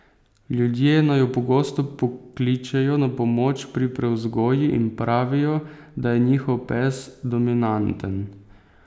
Ljudje naju pogosto pokličejo na pomoč pri prevzgoji in pravijo, da je njihov pes dominanten.